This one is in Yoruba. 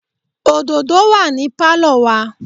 òdòdó wà ní Pálọ̀ wa.